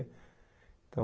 Então...